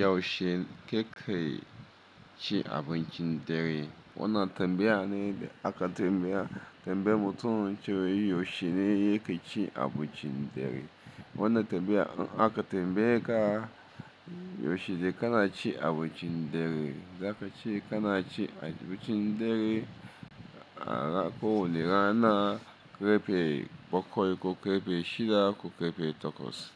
Yaushe ka ke ci abincin dare? Wannan tambaya ne da aka tambaya tambayi mutum cewa yaushe ne yake ci abincin dare. Wannan tambaya aka tambaye ka yaushe ne ka na ci abincin dare, za ka ce ka na ci abincin dare ko wanu rana ƙarfe bakwai, ko ƙarfe shida, ko ƙarfe takwas.